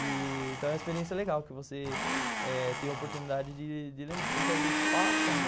Então é uma experiência legal que você eh tem a oportunidade de lembrar, porque às vezes passa, né?